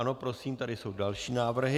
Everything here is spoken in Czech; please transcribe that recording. Ano, prosím, tady jsou další návrhy.